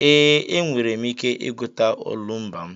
Ee, enwere m ike ịgụta n'olumba m.